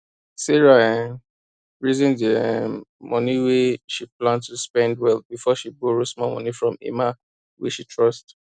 sarah um reason the um money wey she plan to spend well before she borrow small money from emma wey she trust